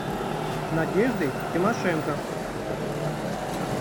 надеждой тимошенко